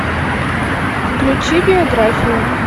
включи биографию